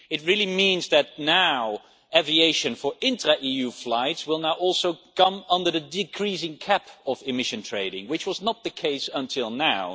It means that aviation for intra EU flights will now also come under the decreasing cap of emission trading, which was not the case until now.